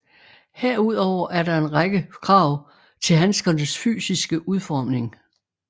Herudover er der en række krav til handskernes fysiske udformning